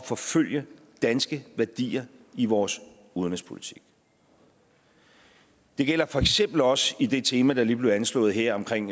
forfølge danske værdier i vores udenrigspolitik det gælder for eksempel også i det tema der lige blev anslået her omkring